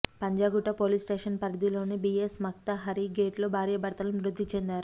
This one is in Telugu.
పంజాగుట్ట పోలీస్ స్టేషన్ పరిధిలోని బియెస్ మక్త హరీ గేట్లో భార్యాభర్తలు మృతిచెందారు